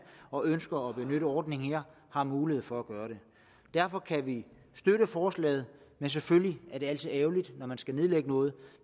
og ønsker at benytte ordningen her har mulighed for at gøre det derfor kan vi støtte forslaget det er selvfølgelig altid ærgerligt når man skal nedlægge noget